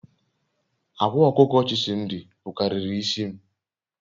Akwa okuko Chisimdi bukariri isi m